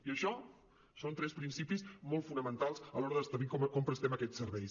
i això són tres principis molt fonamentals a l’hora d’establir com prestem aquests serveis